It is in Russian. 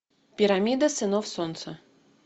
пирамида сынов солнца